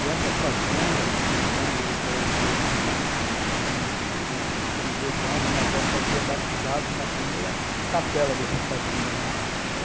E essa fazenda, quando eu eu me entendo por gente que tinha uns oito anos, minha avó fazia batizado na primeira capela dessa fazenda lá e,